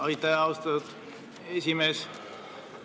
Aitäh, austatud esimees!